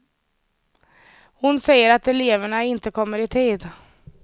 Hon säger att eleverna inte kommer i tid.